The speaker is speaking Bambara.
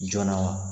Joona wa